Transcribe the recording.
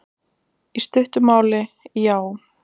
Í stuttu máli, já.